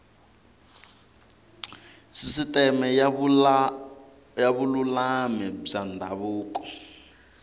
sisiteme ya vululami bya ndhavuko